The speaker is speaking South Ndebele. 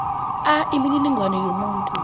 a imininingwana yomuntu